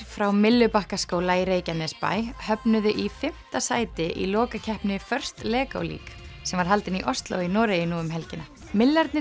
frá Myllubakkaskóla í Reykjanesbæ höfnuðu í fimmta sæti í lokakeppni Lego League sem var haldin í Osló í Noregi nú um helgina